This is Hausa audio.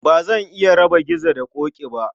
Ba zan iya raba Gizo da Ƙoƙi ba